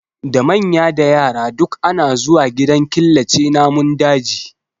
Da manya da yara duk ana zuwa gidan killace namun daji